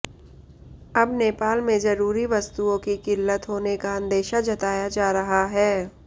अब नेपाल में जरूरी वस्तुओं की किल्लत होने का अंदेशा जताया जा रहा है